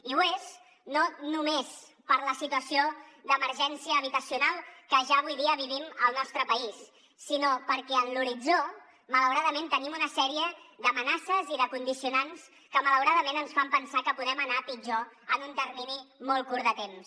i ho és no només per la situació d’emergència habitacional que ja avui dia vivim al nostre país sinó perquè en l’horitzó malauradament tenim una sèrie d’amenaces i de condicionants que malauradament ens fan pensar que podem anar a pitjor en un termini molt curt de temps